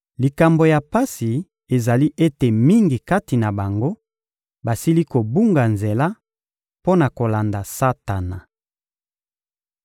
Likambo ya pasi ezali ete mingi kati na bango basili kobunga nzela mpo na kolanda Satana.